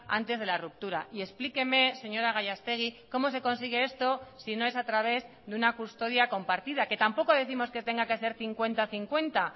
antes de la ruptura y explíqueme señora gallastegui cómo se consigue esto si no es a través de una custodia compartida que tampoco décimos que tenga que ser cincuenta cincuenta